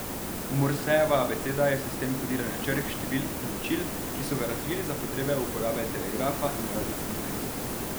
Morsejeva abeceda je sistem kodiranja črk, številk in ločil, ki so ga razvili za potrebe uporabe telegrafa in radijskih zvez.